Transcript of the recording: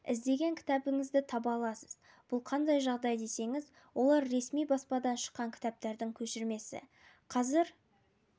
іздеген кітабыңызды таба аласыз бұл қандай жағдай десеңіз олар ресми баспадан шыққан кітаптардың көшірмесі қазір